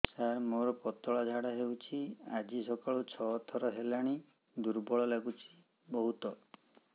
ସାର ମୋର ପତଳା ଝାଡା ହେଉଛି ଆଜି ସକାଳୁ ଛଅ ଥର ହେଲାଣି ଦୁର୍ବଳ ଲାଗୁଚି ବହୁତ